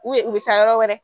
U bɛ u bɛ taa yɔrɔ wɛrɛ